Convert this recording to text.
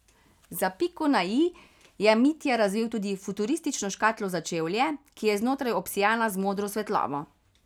Za piko na i je Mitja razvil tudi futuristično škatlo za čevlje, ki je znotraj obsijana z modro svetlobo.